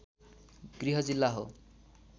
गृह जिल्ला हो